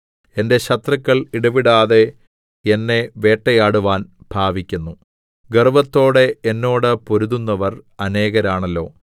എന്റെ ശത്രുക്കൾ ഇടവിടാതെ എന്നെ വേട്ടയാടുവാൻ ഭാവിക്കുന്നു ഗർവ്വത്തോടെ എന്നോട് പൊരുതുന്നവർ അനേകരാണല്ലോ